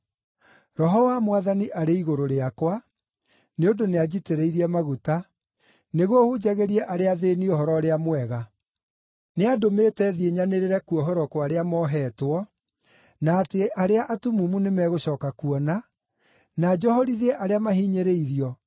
“Roho wa Mwathani arĩ igũrũ rĩakwa, nĩ ũndũ nĩanjitĩrĩirie maguta nĩguo hunjagĩrie arĩa athĩĩni Ũhoro-ũrĩa-Mwega. Nĩandũmĩte thiĩ nyanĩrĩre kuohorwo kwa arĩa moheetwo, na atĩ arĩa atumumu nĩmegũcooka kuona, na njohorithie arĩa mahinyĩrĩirio,